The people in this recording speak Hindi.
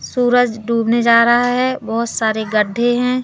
सूरज डूबने जा रहा है बहोत सारे गड्ढे हैं।